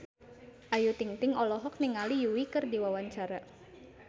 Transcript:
Ayu Ting-ting olohok ningali Yui keur diwawancara